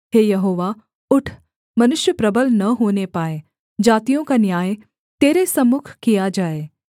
हे यहोवा उठ मनुष्य प्रबल न होने पाए जातियों का न्याय तेरे सम्मुख किया जाए